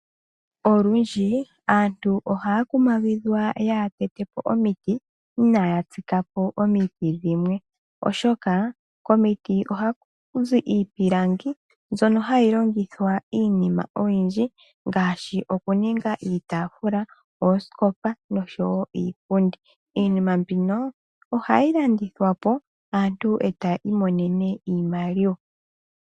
Olundji aantu ohaya kumagidhwa yaaha tete po omiti inaya tsika po omiti dhimwe oshoka, komiti ohakuzi iipilangi mbyono hayi longithwa iinima oyindji ngaashi okuninga iitaafula, oosikopa noshowo iipundi. Iinima mbino ohayi landithwa po aantu e taya imonene iimaliwa.